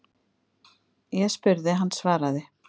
Ég spurði, hann svaraði.